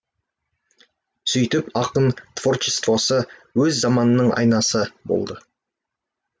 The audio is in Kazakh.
сөйтіп ақын творчествосы өз заманының айнасы болды